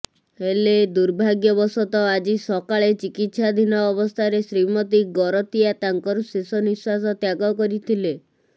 ହେଲେ ଦୁର୍ଭାଗ୍ୟବଶତଃ ଆଜି ସକାଳେ ଚିକିତ୍ସାଧୀନ ଅବସ୍ଥାରେ ଶ୍ରୀମତୀ ଗରତିଆ ତାଙ୍କର ଶେଷ ନିଶ୍ବାସ ତ୍ୟାଗ କରିଥିଲେ